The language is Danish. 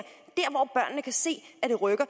og kan se at det rykker